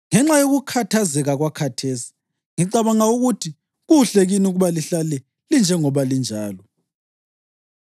Ngenxa yokukhathazeka kwakhathesi, ngicabanga ukuthi kuhle kini ukuba lihlale linjengoba linjalo.